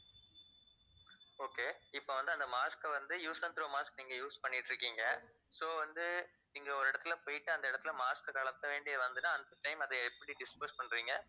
okay இப்போ வந்து அந்த mask அ வந்து use and throw mask நீங்க use பண்ணிட்டு இருக்கீங்க so வந்து நீங்க ஒரு இடத்துல போயிட்டு அந்த இடத்துல mask அ கழட்ட வேண்டியது வருதுன்னா அந்த time ல அத எப்படி dispose பண்ணுவீங்க